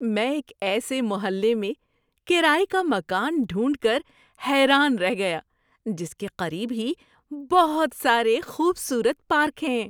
میں ایک ایسے محلے میں کرائے کا مکان ڈھونڈ کر حیران رہ گیا جس کے قریب ہی بہت سارے خوبصورت پارک ہیں۔